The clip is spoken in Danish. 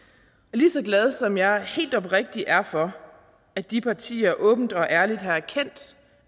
lige så glad som jeg helt oprigtigt er for at de partier åbent og ærligt har erkendt